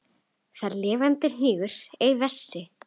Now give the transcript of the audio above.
Þar lifandi hnígur ei vessi.